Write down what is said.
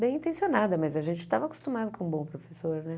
Bem intencionada, mas a gente estava acostumado com um bom professor, né?